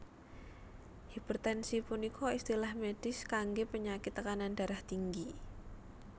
Hipertensi punika istilah medis kanggé penyakit tekanan darah tinggi